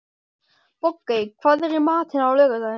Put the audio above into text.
Bogey, hvað er í matinn á laugardaginn?